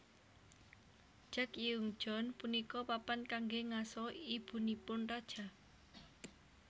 Jagyeongjeon punika papan kanggé ngaso ibunipun raja